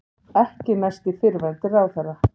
Ekki næst í fyrrverandi ráðherra